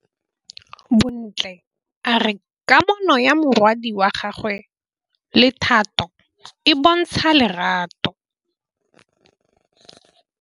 Bontle a re kamanô ya morwadi wa gagwe le Thato e bontsha lerato.